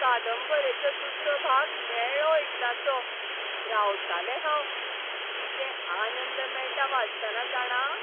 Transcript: कादंबरेचो दुसरो भाग मेळ्ळो एकदांचो. रावतालें हांव. कितें आनंद मेळटा वाचतना, जाणा.